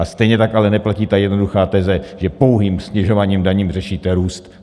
A stejně tak ale neplatí ta jednoduchá teze, že pouhým snižováním daní řešíte růst.